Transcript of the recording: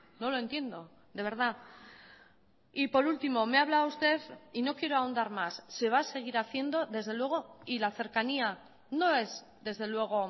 no lo entiendo de verdad y por último me habla usted y no quiero ahondar más se va a seguir haciendo desde luego y la cercanía no es desde luego